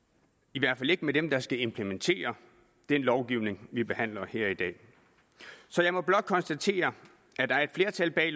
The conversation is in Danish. i hvert fald ikke med dem der skal implementere den lovgivning vi behandler her i dag så jeg må blot konstatere at der er et flertal bag